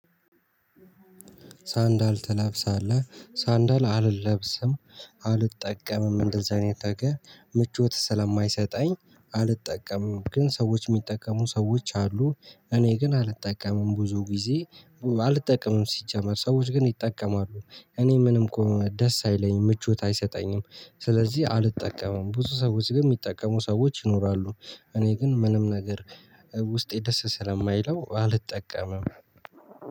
ሳንዳል ትለብሳለህ? ሳንዳል አልለብስም። አልጠቀምም እንደዛ አይነት ነገር ምቾት ስለማይሰጠኝ አልጠቀምም። ግን ሰዎች ሚጠቀሙ ሰዎች አሉ እኔ ግን አልጠቀምም። ብዙ ጊዜ አልጠቀምም ሲጀመር ሰዎች ግን ይጠቀማሉ። እኔ ምንም እኮ ደስ አይለኝም ምቾት አይሰጠኝም። ስለዚህ አልጠቀመም። ብዙ ሰዎች ግን ሚጠቀሙ ሰዎች ይኖራሉ እኔ ግን ምንም ነገር ውስጤ ደስ ስለማይለው አልጠቀምም።